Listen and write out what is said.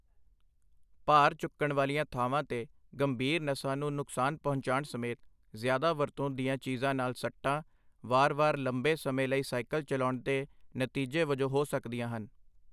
ਭਾਰ ਚੁੱਕਣ ਵਾਲੀਆਂ ਥਾਵਾਂ 'ਤੇ ਗੰਭੀਰ ਨਸਾਂ ਨੂੰ ਨੁਕਸਾਨ ਪਹੁੰਚਾਉਣ ਸਮੇਤ ਜ਼ਿਆਦਾ ਵਰਤੋਂ ਦੀਆਂ ਚੀਜ਼ਾਂ ਨਾਲ ਸੱਟਾਂ, ਵਾਰ-ਵਾਰ ਲੰਬੇ ਸਮੇਂ ਲਈ ਸਾਈਕਲ ਚਲਾਉਣ ਦੇ ਨਤੀਜੇ ਵਜੋਂ ਹੋ ਸਕਦੀਆਂ ਹਨ।